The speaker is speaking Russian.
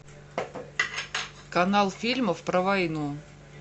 канал фильмов про войну